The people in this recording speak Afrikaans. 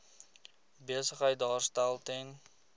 besigheid daarstel ten